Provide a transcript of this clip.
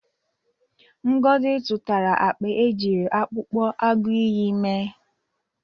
Ngozi zụtara akpa e jiri akpụkpọ agụịyị mee.